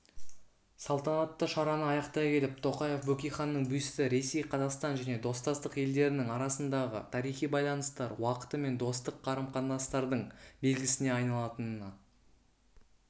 салтанатты шараны аяқтай келіп тоқаев бөкейханның бюсті ресей қазақстан және достастық елдерінің арасындағы тарихи байланыстар уақыты мен достық қарым-қатынастардың белгісіне айналатынына